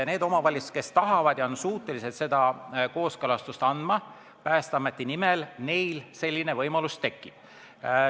Neile omavalitsustele, kes on suutelised seda kooskõlastust Päästeameti nimel andma, selline võimalus tekib.